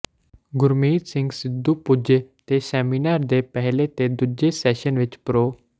ਗੁਰਮੀਤ ਸਿੰਘ ਸਿੱਧੂ ਪੁੱਜੇ ਤੇ ਸੈਮੀਨਾਰ ਦੇ ਪਹਿਲੇ ਤੇ ਦੂਜੇ ਸੈਸ਼ਨ ਵਿਚ ਪ੍ਰੋ